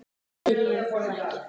Við réðum þó ekki för.